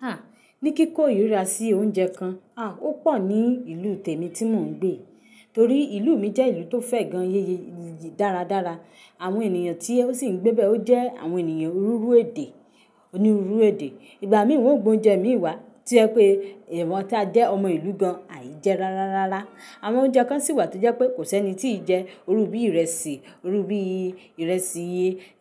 A, ní kíkò irira sí oúnjẹ kan, a, ó pọ̀ ní ìlú tèmi tí mò ń gbé. Torí ìlú mi jẹ́ ìlú tó fẹ́ gan yéye dáradára. Àwọn ènìyàn tí ó sì ń gbé bẹ́ ọ jẹ́ àwọn ènìyàn òniruuru èdè, òniruuru èdè. Ìgbà mí wón ó gbé oúnjẹ mi wá tí o jẹ pé àwa tí a jẹ́ ọmọ ìlú gan àì jẹ rárá rárá. Àwọn oúnjẹ kan sì wà tó jẹ́ pé kò sí ẹni tí ì jẹ. Irú bí ìrẹsì, irú bí ìrẹsì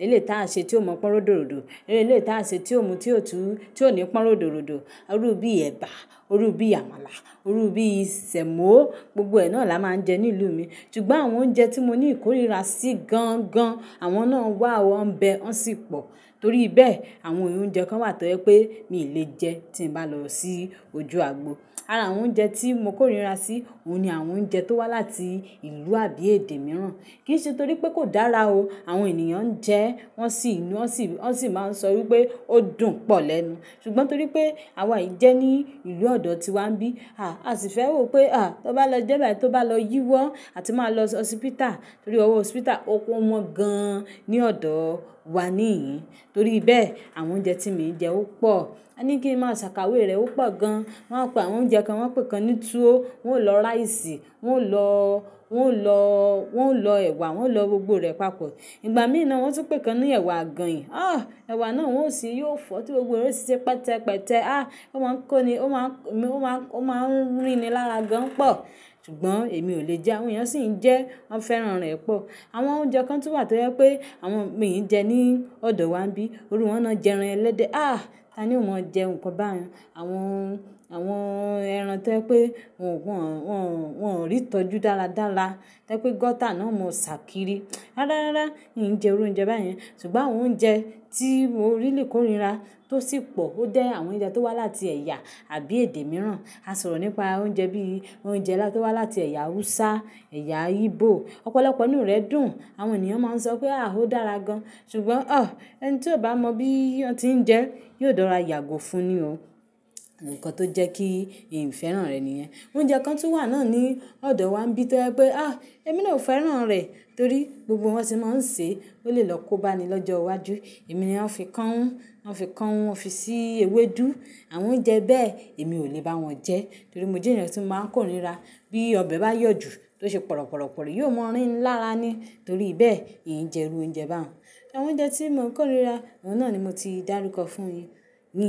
eléyi ta ṣe tí ò mọ́ pọ́n ródòrodò. Eléyi taa ṣe tí ò mú tí ò tú, tí ò ní pọ́n ródòrodò. Irú bí ẹ̀bà, irú bí àmàlà, irú bí sèmó. Gbogbo ẹ naà la máa ń jẹ ní ìlú mi. Ṣùgbọ́n àwọn oúnjẹ tí mo ní ìkórira sí gan gan, àwọn náà wà, wọ́n ń bẹ, wọ́n sì pọ̀. Torí bẹ́ẹ̀, àwọn oúnjẹ kan wà tó jẹ́ pé mi ò lè jẹ tí n bá lọ sí ojú àgbo. Àrà àwọn oúnjẹ tí mo kórìíra sí òun ni àwọn oúnjẹ tó wá láti ìlú àbí èdè mìíràn. Kì í ṣe torí pé kò dára o. Àwọn ènìyàn ń jẹ, wọ́n sì máa ń sọ wípé ó dùn pọ̀ lẹ́nu. Ṣùgbọ́n torí pé àwa ì jẹ ní ìlú ọ̀dọ̀ tíwa ń bí. A, a sì fẹ́ rò pé a, tí ó bá lọ jẹ́ bá tí ó bá lọ yíwọ́, a tí máa lọ sí hospital. Torí ọwọ́ hospital ò wọ́n gan ní ọ̀dọ̀ wa níyìí. Torí bẹ́ẹ̀, àwọn oúnjẹ tí mi ń jẹ ó pọ̀. A ní kí n máa ṣàkawé rẹ̀ ó pò gan. Wọn pe àwọn oúnjẹ kan wọ́n pèé kan ní tuwo, wọn ò lọ ráìsì, wọ́n ò lọ, wọ́n ò lọ, wọ́n ò lọ ẹ̀wà, wọ́n ò lọ gbogbo rẹ̀ papọ̀. Ìgbà mí ì náà wọ́n tún pèé kan ní ẹ̀wà àgànyìn. A! Ẹ̀wà náà wọ́n ó sè yóò fọ́ tí gbogbo rè o sì ṣe pẹtẹpẹtẹ. A! Ó máa ń kó ni, ó máa ń rí mi lára gan pọ̀. Ṣùgbọ́n èmi ò lè jẹ, àwọn ènìyàn sì ń jẹ, wọ́n fẹ́ràn rẹ̀ pọ̀. Àwọn oúnjẹ kan tún wà tó jẹ́ pé àwọn mí ì jẹ ní ọ̀dọ̀ wa ń bí. Irú wọn náà jẹ́ ẹran ẹlẹ́dẹ. A! Tani ò mọ̀ jẹ́ nkan báun. Àwọn, àwọn ẹran tó jẹ́ pé wọn ò rí ìtọ́jú dáradára. To je pé gọ́tà náà mọ̀ ṣàkíri. Rárárá, ì ń jẹ irú oúnjẹ báyẹn. Ṣùgbọ́n àwọn oúnjẹ tí mo really kórìíra tó sì pọ̀, ó jẹ́ àwọn oúnjẹ tó wá láti ẹ̀yà àbí èdè mìíràn. A sọ̀rọ̀ nípa oúnjẹ bí i oúnjẹ láti wá láti ẹ̀yà Hausa, ẹ̀yà Igbo. Ọ̀pọ̀lọpọ̀ nínú rẹ̀ dùn. Àwọn ènìyàn máa ń sọ pé a, ó dára gan. Ṣùgbọ́n ọ! Ẹni tí ò bá mọ bí i wọn tí ń jẹ́ yóò rora yàgò fún ni o. Nǹkàn tó jẹ́ kí ì ń mo fẹ́ràn rẹ̀ níyẹn. Oúnjẹ kan tun wà náà ní ọ̀dọ̀ wa ń bí tọ́ jẹ pé a, èmi náà ò fẹ́ràn rẹ̀ torí gbogbo bi wọ́n se mo ń ṣe ó lè lọ kóbá ni lọ́jọ́ iwájú. Èmi ni wọ́n fi káún, wọ́n fi káún, wọ́n fi sí ewédú. Àwọn oúnjẹ bẹ́ẹ̀ èmi ò lè bá wọn jẹ. Torí mo jẹ́ ènìyàn tí ń máa ń kórìíra. Bí ọbẹ̀ bá yọ̀ jù tó ṣe pọ̀rọ̀pọ̀rọ̀pọ̀rí yóò mọ́ rí ń lára ni. Torí bẹ́ẹ̀, ì ń jẹ irú oúnjẹ bá wọn. Àwọn oúnjẹ tí mò ń kórira, àwọn náà ni mo ti dárúkọ fúnyin ye.